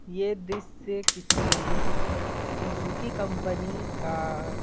यह दृश्य किसी सीज़ुकी कंपनी का --